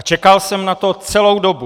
A čekal jsem na to celou dobu.